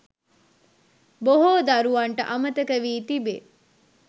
බොහෝ දරුවන්ට අමතක වී තිබේ.